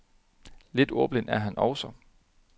Lidt ordblind er han også.